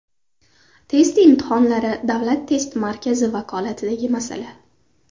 Test imtihonlari Davlat test markazi vakolatidagi masala.